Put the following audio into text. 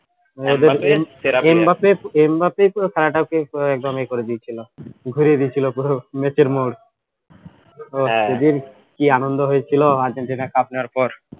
M বাপে এম বাপেই তো খেলাটাকে কে একদম ইয়ে করে দিয়েছিলো ঘুরিয়ে দিয়েছিলো ঘুরর match এর মোর সেদিন কি আনন্দ হয়েছিল আর্জেন্টিনা cup নেওয়ার পর